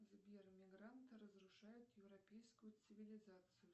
сбер мигранты разрушают европейскую цивилизацию